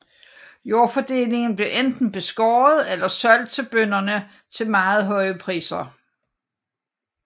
Jordfordelingen blev enten beskåret eller solgt til bønderne til meget høje priser